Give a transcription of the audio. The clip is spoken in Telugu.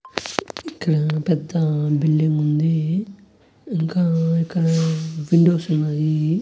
ఇక్కడ పెద్ద బిల్డింగ్ ఉంది. ఇంకా ఇక్కడ విండోస్ ఉన్నాయి.